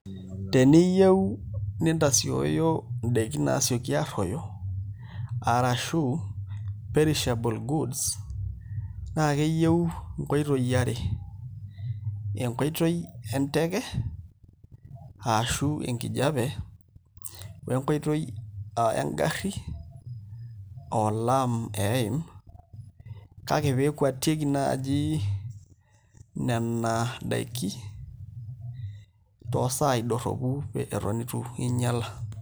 Teniyieu nintasioyo ndaikin naasioki arruoyo arashu perishable goods naa keyieu nkoitoi are enkoitoi enteke ashu enkijiape oo enkoitoi aa engarri aa olaam eeim kake pee ekwatieki naaji nena daiki toosaai dorropu eton itu inyiala.